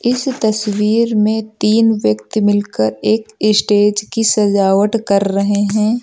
इस तस्वीर में तीन व्यक्ति मिल कर एक स्टेज की सजावट कर रहे हैं।